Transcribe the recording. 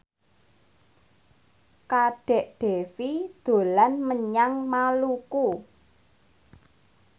Kadek Devi dolan menyang Maluku